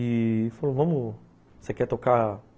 E falou, vamos, você quer tocar?